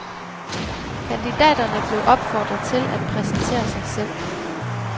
Kandidaterne blev opfordret til at præsentere sig selv.